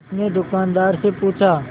उसने दुकानदार से पूछा